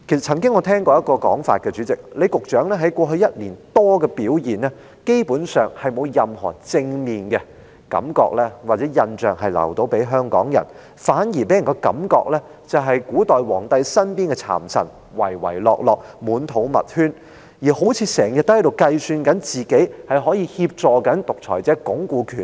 主席，我曾聽過一種說法，李局長在過去1年多以來，基本上沒有留給香港人任何正面的感覺或印象，反而令人一再聯想到古代皇帝身邊的讒臣，唯唯諾諾，滿肚密圈，時刻都好像在計算自己可以如何協助獨裁者鞏固權力。